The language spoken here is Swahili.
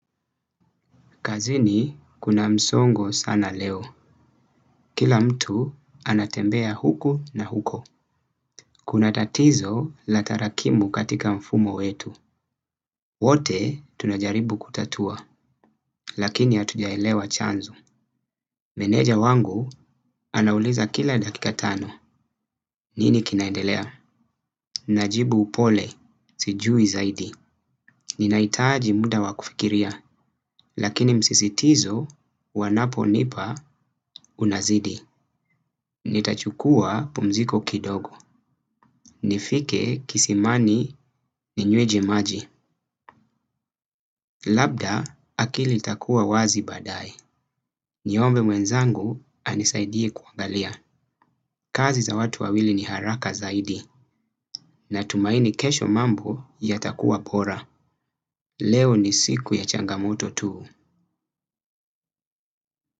Kazini kuna msongo sana leo. Kila mtu anatembea huku na huko. Kuna tatizo la tarakimu katika mfumo wetu. Wote tunajaribu kutatua. Lakini hatujaelewa chanzo. Meneja wangu anauliza kila dakika tano. Nini kinaendelea? Najibu upole. Sijui zaidi. Ninahitaji muda wakufikiria. Lakini msisitizo wanapo nipa unazidi. Ni tachukua pumziko kidogo. Nifike kisimani ni nyweje maji. Labda akili itakuwa wazi baadaye. Niombe mwenzangu anisaidie kuangalia. Kazi za watu wawili ni haraka zaidi na tumaini kesho mambo ya takua bora. Leo ni siku ya changamoto tu.